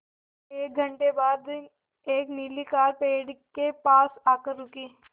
एक घण्टे बाद एक नीली कार पेड़ के पास आकर रुकी